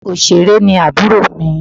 Òṣèré ni àbúrò mi.